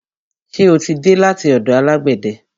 Ṣe o tí dé láti ọ̀dọ̀ alágbẹ̀de?